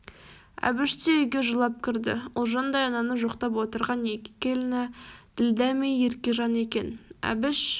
әбіш те үйге жылап кірді ұлжандай ананы жоқтап отырған екі келіні ділдә мей еркежан екен әбіш